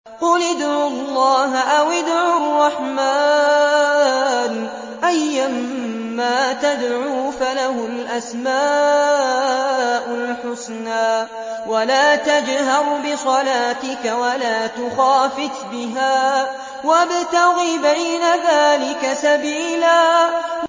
قُلِ ادْعُوا اللَّهَ أَوِ ادْعُوا الرَّحْمَٰنَ ۖ أَيًّا مَّا تَدْعُوا فَلَهُ الْأَسْمَاءُ الْحُسْنَىٰ ۚ وَلَا تَجْهَرْ بِصَلَاتِكَ وَلَا تُخَافِتْ بِهَا وَابْتَغِ بَيْنَ ذَٰلِكَ سَبِيلًا